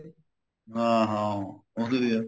ਹਾਂ ਹਾਂ ਉਹੀ ਤੇ ਹੈ